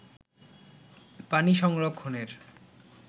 পানি সংরক্ষণের